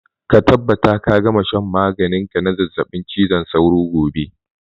Ka tabbata ka gama shan maganin ka na zazzabin cizon sauro gobe!